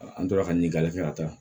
An tora ka ɲini kalifa a ta